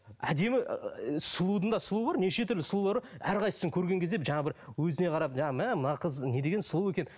әдемі ііі сұлудың да сұлуы бар неше түрлі сұлулар бар әрқасысын көрген кезде жаңа бір өзіне қарап жаңа мә мына қыз не деген сұлу екен